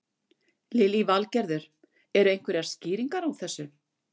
Lillý Valgerður: Eru einhverjar skýringar á þessu?